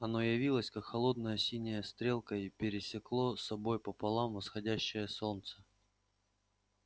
оно явилось как холодная синяя стрелка и пересекло собой пополам восходящее солнце